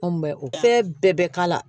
Anw bɛ o bɛɛ bɛ k'a la